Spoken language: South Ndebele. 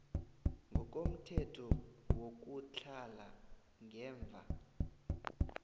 ngokomthetho wokutlhala ngemva